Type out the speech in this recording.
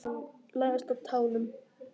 Læðast á tánum.